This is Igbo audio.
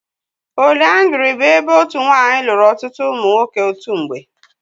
Póliyandrí bụ ebe otu nwanyị lụrụ ọtụtụ ụmụ nwoke otu mgbe.